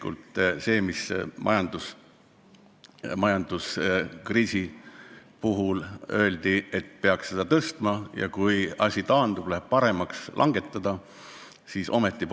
On öeldud, et majanduskriisi ajal peab käibemaksu tõstma ja kui kriis taandub, olukord läheb paremaks, siis saab maksu langetada.